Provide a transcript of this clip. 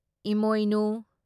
ꯢꯃꯣꯏꯅꯨ